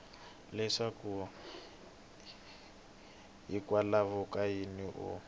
leswaku hikwalaho ka yini u